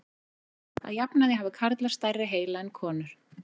Að jafnaði hafa karlar stærri heila en konur.